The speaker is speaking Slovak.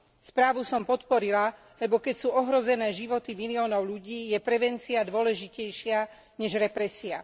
Správu som podporila, lebo keď sú ohrozené životy miliónov ľudí, je prevencia dôležitejšia než represia.